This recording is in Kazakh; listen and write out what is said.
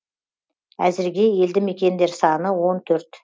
әзірге елді мекендер саны он төрт